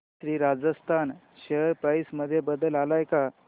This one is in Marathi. श्री राजस्थान शेअर प्राइस मध्ये बदल आलाय का